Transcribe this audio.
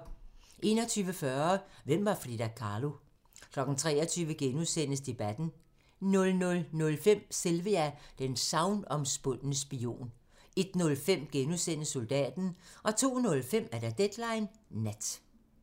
21:40: Hvem var Frida Kahlo? 23:00: Debatten * 00:05: Sylvia: den sagnomspundne spion 01:05: Soldaten * 02:05: Deadline Nat